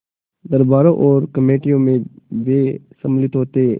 दरबारों और कमेटियों में वे सम्मिलित होते